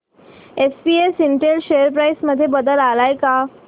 SPS Intel share price मध्ये बदल आलाय का